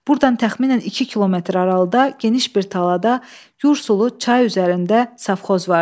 Burdan təxminən 2 kilometr aralıda geniş bir talada Yursulu çay üzərində safxoz vardı.